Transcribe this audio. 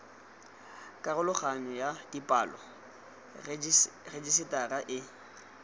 karologanyo ya dipalo rejisetara e